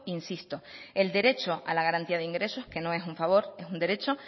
insisto el derecho a la garantía de ingresos que no es un favor es un derecho